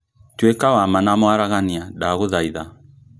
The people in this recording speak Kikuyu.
Tũĩka wa ma na mwaragania, ndagũthaitha